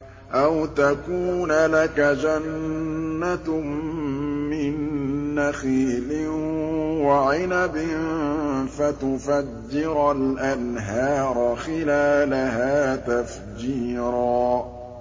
أَوْ تَكُونَ لَكَ جَنَّةٌ مِّن نَّخِيلٍ وَعِنَبٍ فَتُفَجِّرَ الْأَنْهَارَ خِلَالَهَا تَفْجِيرًا